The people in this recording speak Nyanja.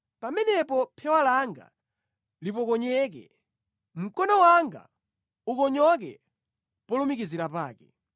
pamenepo phewa langa lipokonyeke, mkono wanga ukonyoke polumikizira pake.